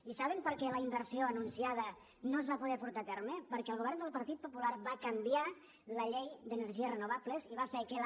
i saben per què la inversió anunciada no es va poder portar a terme perquè el govern del partit popular va canviar la llei d’energies renovables i va fer que la